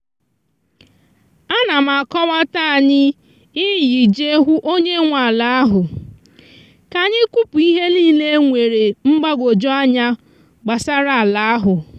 a na m akọwata anyi iyi je hụ onye nwe ala ahụ ka anyị kwụpụ ihe niile e nwere mgbagwoju anya gbasara ala ahụ.